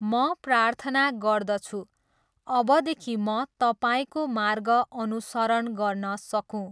म प्रार्थना गर्दछु, अबदेखि म तपाईँको मार्ग अनुसरण गर्न सकूँ।